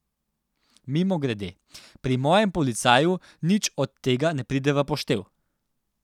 Mimogrede, pri mojem policaju nič od tega ne pride v poštev.